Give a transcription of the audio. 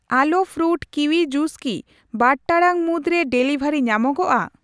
ᱟᱞᱳ fruit kiwi juice ᱠᱤ ᱵᱟᱨ ᱴᱟᱲᱟᱝ ᱢᱩᱫᱽᱨᱮ ᱰᱮᱞᱤᱵᱷᱟᱨᱤ ᱧᱟᱢᱚᱜᱼᱟ ?